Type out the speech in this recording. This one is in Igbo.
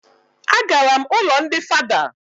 A gara m ụlọ ndị father